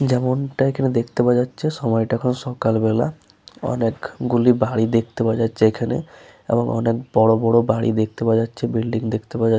যেমন টা এখানে দেখতে পাওয়া যাচ্ছে সময়টা এখন সকালবেলা অনেক গুলি বাড়ি দেখতে পাওয়া যাচ্ছে এখানে এবং অনেক বড় বড় বাড়ি দেখতে পাওয়া যাচ্ছে বিল্ডিং দেখতে পাওয়া যা --